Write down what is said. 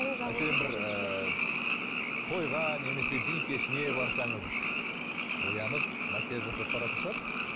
ыыы тойға немесе би кешіне барсаңыз боянып макияж жасап баратын шығарсыз